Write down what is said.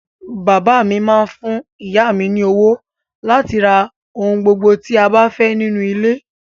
Bàbá mi máá ń fún ìyá mi ní owó láti fi ra ohun gbogbo tí a bá fẹ́ nínú ilé